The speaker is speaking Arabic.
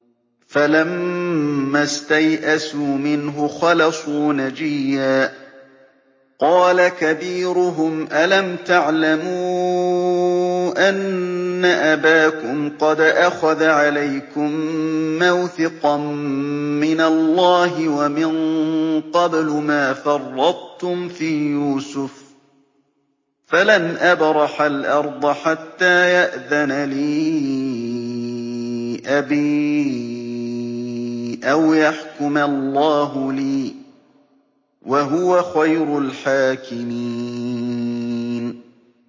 فَلَمَّا اسْتَيْأَسُوا مِنْهُ خَلَصُوا نَجِيًّا ۖ قَالَ كَبِيرُهُمْ أَلَمْ تَعْلَمُوا أَنَّ أَبَاكُمْ قَدْ أَخَذَ عَلَيْكُم مَّوْثِقًا مِّنَ اللَّهِ وَمِن قَبْلُ مَا فَرَّطتُمْ فِي يُوسُفَ ۖ فَلَنْ أَبْرَحَ الْأَرْضَ حَتَّىٰ يَأْذَنَ لِي أَبِي أَوْ يَحْكُمَ اللَّهُ لِي ۖ وَهُوَ خَيْرُ الْحَاكِمِينَ